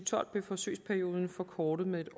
tolv blev forsøgsperioden forkortet med